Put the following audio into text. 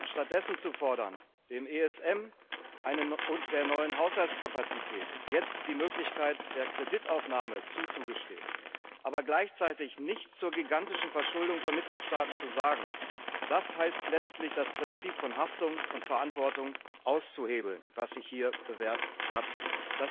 Stattdessen zu fordern, dem ESM und der neuen Haushaltskapazität jetzt die Möglichkeit der Kreditaufnahme zuzugestehen, aber gleichzeitig nichts zur gigantischen Verschuldung von Mitgliedstaaten zu sagen, das heißt letztlich, das Prinzip von Haftung und Verantwortung, das sich hier bewährt hat, auszuhebeln.